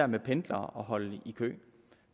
med pendlere og at holde i kø